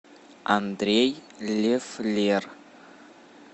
андрей лефлер